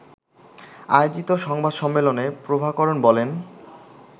আয়োজিত সংবাদ সম্মেলনে প্রভাকরণ বলেন